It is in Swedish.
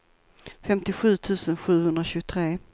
femtiosju tusen sjuhundratjugotre